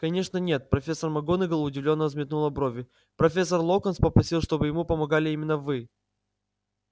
конечно нет профессор макгонагалл удивлённо взметнула брови профессор локонс попросил чтобы ему помогали именно вы